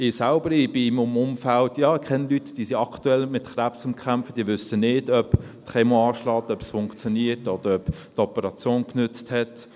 Ich selbst bin in einem Umfeld und kenne Leute, die aktuell mit Krebs kämpfen, die wissen nicht, ob die Chemo anschlägt, ob es funktioniert, oder ob die Operation genutzt hat.